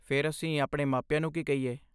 ਫਿਰ, ਅਸੀਂ ਆਪਣੇ ਮਾਪਿਆਂ ਨੂੰ ਕੀ ਕਹੀਏ?